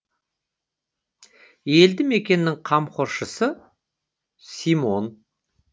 елді мекеннің қамқоршысы симон